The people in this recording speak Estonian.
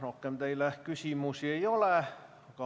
Rohkem teile küsimusi ei ole.